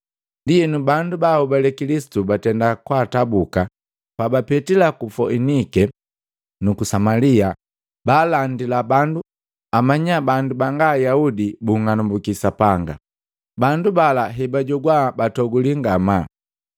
Ndienu bandu baanhobale Kilisitu batenda kwaatabuka, pabapetila ku Foinike nuku Samalia baalandila bandu amanya bandu banga Ayaudi bunng'anambuki Sapanga. Bandu bala hebajogwa batoguli ngamaa.